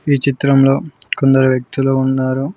ఈ చిత్రంలో కొందరు వ్యక్తులు ఉన్నారు.